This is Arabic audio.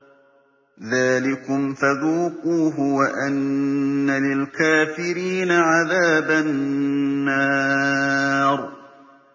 ذَٰلِكُمْ فَذُوقُوهُ وَأَنَّ لِلْكَافِرِينَ عَذَابَ النَّارِ